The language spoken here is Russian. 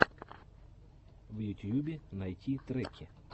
в ютьюбе найти треки